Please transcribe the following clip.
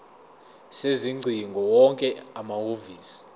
sezingcingo wonke amahhovisi